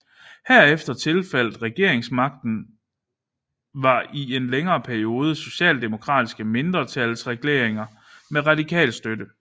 Herefter tilfaldt regeringsmagten var i en længere periode socialdemokratiske mindretalsregeringer med radikal støtte